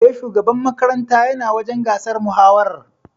E, shugaban makaranta yana wajen gasar mahawarar.